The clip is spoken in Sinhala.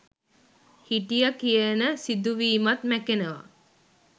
හිටිය කියන සිදුවීමත් මැකෙනව.